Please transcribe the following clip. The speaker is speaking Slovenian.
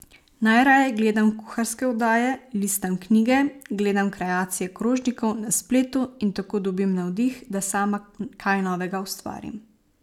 Najraje gledam kuharske oddaje, listam knjige, gledam kreacije krožnikov na spletu in tako dobim navdih, da sama kaj novega ustvarim.